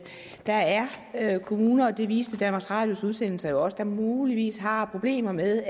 der er er kommuner og det viste danmarks radios udsendelser jo også der muligvis har problemer med